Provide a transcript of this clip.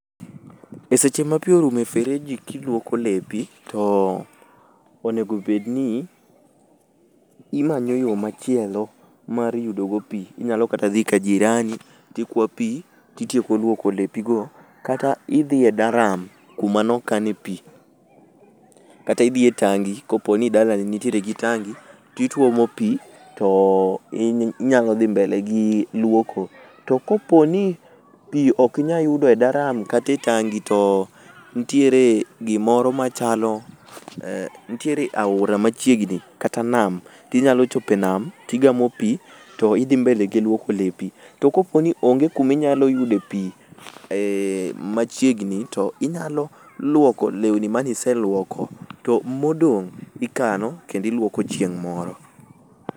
E seche ma pi orumo e fereji kiluoko lepi to onego obed ni imanyo yo machielo mar yudo go pi. Inyalo kata dhi ka jirani tikwa pi ti tieko lwoko lepi go kata idhi e daram kuma no kane pi kata idhi e tangi koponi dalani nitiere gi tangi ti tuomo pi to inyalo dhi mbele gi lwoko. To koponi pi ok inya yudo e daram kata e tangi to ntiere gimoro machalo, ntiere aora machiegni kata nam tinyalo chopo e nam tigamo pi to idhi mbele gi lwoko lepi. To koponi onge kuma inyalo yude pi machiegni, tinyalo lwoko lewni manyise lwoko to modong' ikano kendo ilwoko chieng' moro.